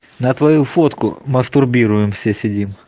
на твою фотку мастурбирует все седим